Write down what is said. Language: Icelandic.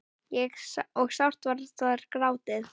og sárt var þar grátið.